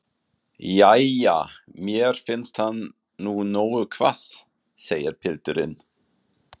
Jæja, mér finnst hann nú nógu hvass, segir pilturinn.